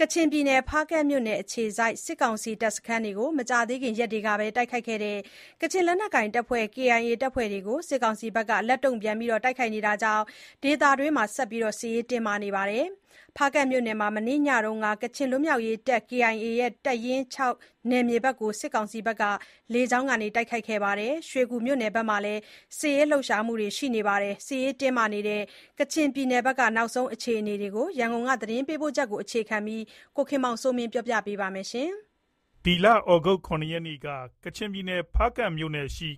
ကချင်ပြည်နယ် ဖားကန့်မြို့နယ် အခြေစိုက် စစ်ကောင်စီတပ်စခန်းတွေကို မကြာသေးခင်ရက်ကပဲ တိုက်ခိုက်ခဲ့တဲ့ ကချင်လက်နက်ကိုင် KIA တပ်ဖွဲ့တွေကို စစ်ကောင်စီက လက်တုံ့ပြန် တိုက်ခိုက်နေတာကြောင့် ဒေသတွင်းမှာ ဆက်လက် စစ်ရေးတင်းမာနေပါတယ်။ ဖားကန့်မြို့နယ်မှာ မနေ့ညက ကချင်လွတ်မြောက်ရေးတပ် KIA ရဲ့ တပ်ရင်း ၆ နယ်မြေဘက်ကို စစ်ကောင်စီက လေကြောင်းက တိုက်ခိုက်ခဲ့သလို၊ ရွှေကူမြို့နယ်မှာလည်း စစ်ရေးလှုပ်ရှားမှုတွေ ရှိနေတာပါ။ စစ်ရေးတင်းမာနေတဲ့ ကချင်ပြည်နယ်က နောက်ဆုံးအခြေအနေတွေနဲ့ ပတ်သက်လို့ ရန်ကုန်က သတင်းပေးပို့ချက်ကို အခြေခံပြီး ကိုခင်မောင်စိုးမင်း ပြောပြပေးပါမယ်။ ဒီလ ၇ ရက်နေ့က ဖားကန့်မြို့နယ်ရှိ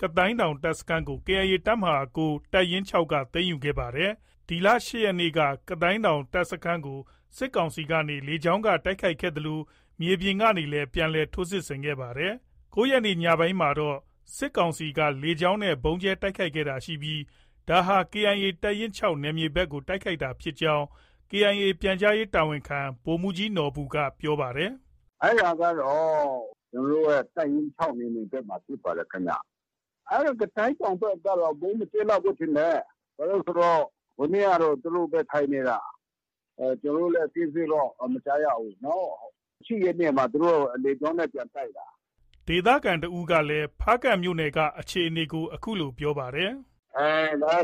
ကသိုဏ်းတောင် တပ်စခန်းကို KIA တပ်မဟာ ၉ ၊ တပ်ရင်း ၆ က သိမ်းယူခဲ့တာပါ။ ဒီလ ၈ရက်နေ ကသိုဏ်းတောင်တပ်စခန်းကို စစ်ကောင်စီက လေကြောင်းက တိုက်ခိုက်ခဲ့သလို မြေပြင်ကလည်း ပြန်လည် ထိုးစစ်ဆင်ခဲ့ပါတယ်။ ၉ရက်နေ့ညပိုင်းမှာတော့ စစ်ကောင်စီက လေယာဉ်နဲ့ ဗုံးကြဲ တိုက်ခိုက်တာရှိခဲ့ပြီး ဒါဟာ KIA တပ်ရင်း ၆နယ်မြေဘက်ကိုတိုက်ခိုက်တာဖြစ်ကြောင်း KIA ပြန်ကြားရေးတာဝန်ခံ ဗိုလ်မှုးကြီးနော်ဘူက ပြောပါတယ်။ “ အဲဒါကတော့ ကျနော်တို့ရဲ့ တိုက်ရင်း ၆ နယ်မြေဘက်မှာ ဖြစ်ပါတယ်ခင်ဗျ။ ကသိုဏ်းတောင်ဘက်ကတော့ ဗုံးမကြဲလောက်ဘူးထင်တယ်။ ဘာလို့လည်းဆိုတော့ ဟိုနေ့ကတော့ သူတို့ပဲ ထိုင်နေတာ။ ကျနော်တို့လည်း အသေးစိတ်တော့ မကြားရဘူး။ ၈ ရက်နေ့မှာ သူတို့ လေကြောင်းနဲ့ ပြန်တိုက်တာ။” ဒေသခံတစ်ဦးကလည်း ဖားကန့်မြို့နယ်ကအခြေအနေကို အခုလို ပြောပါတယ်။ “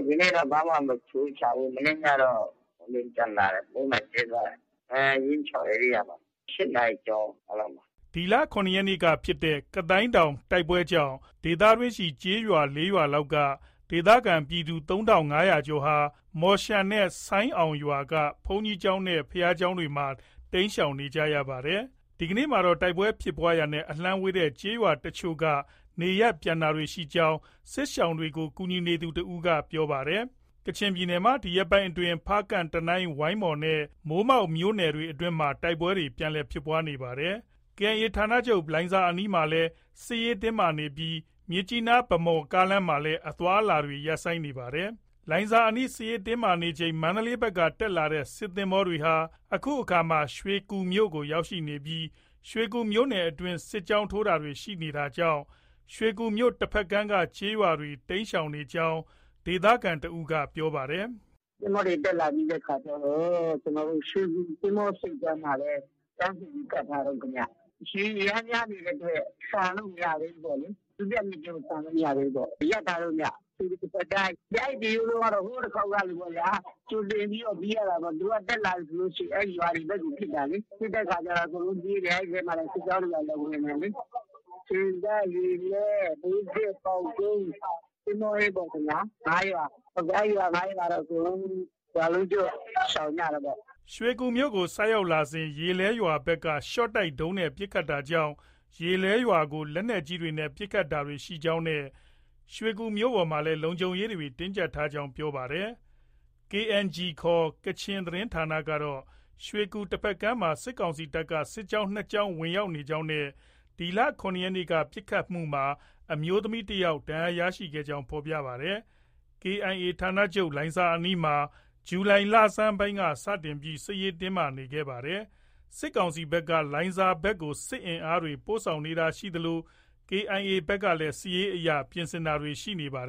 ဒီနေ့တော့ ဘာမှ မထူးခြားဘူး။ မနေ့ညကတော့ လေယာဉ်ပျံလာတယ်။ ဗုံးလာကြဲသွားတယ်။ ရင်း ၆ ဧရိယာမှာ။ ၈နာရီကျော်လောက်မှာ။” ၇ ရက်နေ့က ဖြစ်တဲ့ ကသိုဏ်းတောင်တိုက်ပွဲကြောင့် ဒေသတွင်းရှိ ကျေးရွာ ၄ရွာလောက်က ဒေသခံပြည်သူ ၃၅၀၀ကျော်ဟာ မော်ရှန်နဲ့ ဆိုင်းအောင်ရွာက ဘုန်းကြီးကျောင်းနဲ့ ဘုရားကျောင်းတွေမှာ တိမ်းရှောင်နေကြရပါတယ်။ ဒီကနေ့မှာတော့ တိုက်ပွဲဖြစ်ပွားရာနဲ့ အလှမ်းဝေးတဲ့ကျေးရွာအချို့က နေရပ်ပြန်တာတွေ ရှိနေကြောင်း စစ်ရှောင်တွေကို ကူညီသူ တဦးက ပြောပါတယ်။ ကချင်ပြည်နယ်မှာ ဒီရက်ပိုင်းတွေအတွင်း ဖားကန့်၊ တနိုင်း၊ ဝိုင်းမော်နဲ့ မိုးမောက်မြို့နယ်တွေအတွင်းမှာ တိုက်ပွဲတွေ ပြန်လည်ဖြစ်ပွားလာနေပါတယ်။ KIA ဌာနချုပ်လိုင်ဇာအနီးမှာလည်း စစ်ရေးတင်းမာနေပြီး မြစ်ကြီးနား-ဗန်းမော်လမ်းမှာလည်း အသွားအလာတွေ ရပ်ဆိုင်းနေပါတယ်။ လိုင်ဇာအနီးစစ်ရေးတင်းမာနေချိန် မန္တလေးဘက်ကနေတက်လာတဲ့ စစ်သင်္ဘောတွေဟာ အခုအခါ ရွှေကူမြို့ကို ရောက်ရှိနေပြီး ရွှေကူမြို့နယ်အတွင်း စစ်ကြောင်းထိုးတာတွေ ရှိနေတာကြောင့် ရွှေကူမြို့တစ်ဖက်ကမ်းက ကျေးရွာတွေ တိမ်းရှောင်နေရကြောင်း ရွှေကူဒေသခံတစ်ဦးက ပြောပါတယ်။ “ သင်္ဘောတွေ တက်လာပြီးတဲ့အခါကျတော့ ရွှေကူ သင်္ဘောဆိပ်ကမ်းမှာပဲ တန်းစီပြီး ကပ်ထားတုန်းခင်ဗျ။ ရေအရမ်းများနေတဲ့အတွက် ဆန်လို့ မရသေးဘူးပေါ့လေ။ ဒုတိယမြစ်ကျဉ်းကို ဆန်လို့ မရသေးဘူး။ ရပ်ထားတုံးဗျ။ ရွှေကူ တစ်ဖက်ကမ်းကတော့ ဟိုတလောတုံးကလိုပေါ့ဗျာ။ကြိုတင်ပြီးတော့ ပြေးရတာပေါ့။ သူတို့က တက်လာပြီဆို အဲဒီရွာတွေဘက်ကို ပစ်တာလေ။ ပစ်တဲ့အခါကျ အကုန်လုံးပြေးတယ်။ အဲဒီထဲကိုလည်း စစ်ကြောင်းတွေ ဝင်တယ်လေ။ ဆင်တပ်၊ ရေလဲ၊ မြို့သစ်၊ ပေါက်ကုန်း၊ သင်္ဘောအင်းပေါ့ဗျာ။ ၅ရွာ။ အဲဒီရွာ ၅ရွာကတော့ အကုန်လုံး ရွာလုံးကျွတ် ရှောင်ကြတာပေါ့။” ရွှေကူမြို့ကို ဆိုက်ကပ်စဉ် ရေလဲရွာဘက်က ရှော့တိုက်ဒုံးနဲ့ ပစ်ခတ်တာကြောင့် ရေလဲရွာကို လက်နက်ကြီးတွေနဲ့ ပစ်ခတ်တာတွေ ရှိခဲ့ကြောင်းနဲ့ ရွှေကူမြို့ပေါ်မှာလည်း လုံခြုံရေးတင်းကျပ်ထား ကြောင်းပြောပါတယ်။ KNG ခေါ် ကချင်သတင်းဌာနကတော့ ရွှေကူတဖက်ကမ်းမှာ စစ်ကောင်စီတပ်က စစ်ကြောင်း ၂ကြောင်း ဝင်ရောက်နေကြောင်းနဲ့ ဒီလ ၇ရက်နေ့က ပစ်ခတ်မှုမှာ အမျိုးသမီးတစ်ယောက် ထိခိုက်ဒဏ်ရာရခဲ့ကြောင်း ဖော်ပြပါတယ်။ KIA ဌာနချုပ်လိုင်ဇာအနီးမှာ ဇူလိုင်လဆန်းပိုင်းက စတင်ပြီး စစ်ရေးတင်းမာနေတာဖြစ်ပါတယ်။ စစ်ကောင်စီဘက်က လိုင်ဇာဘက်ကို စစ်အင်အားတွေ ပို့ဆောင်နေတာရှိသလို KIA ဘက်ကလည်း စစ်ရေးအရ ပြင်ဆင်တာတွေ ရှိနေပါတယ်